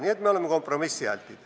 Nii et me oleme kompromissialtid.